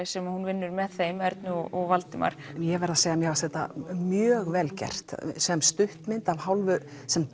sem hún vinnur með þeim Ernu og Valdimar ég verð að segja að mér fannst þetta mjög vel gert sem stuttmynd að hálfu sem